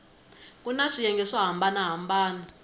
kuna swiyenge swo hambana hambana